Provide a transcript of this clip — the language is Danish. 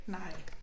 Nej